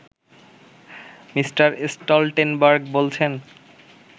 Me. Stoltenberg বলছেন